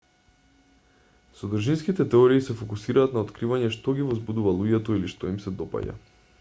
содржинските теории се фокусираат на откривање што ги возбудува луѓето или што им се допаѓа